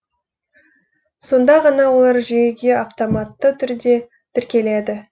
сонда ғана олар жүйеге автоматты түрде тіркеледі